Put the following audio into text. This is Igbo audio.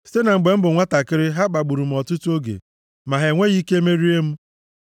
“Site na mgbe m bụ nwantakịrị, ha kpagburu m ọtụtụ oge, ma ha enweghị ike merie m.